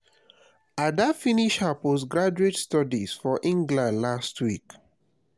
ada finish her post graduate studies for england last week